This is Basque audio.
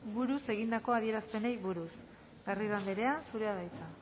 buruz egindako adierazpenei buruz garrido andrea zurea da hitza